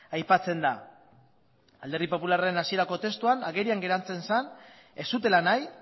aipatzen da alderdi popularraren hasierako testuan agerian geratzen zen ez zutela nahi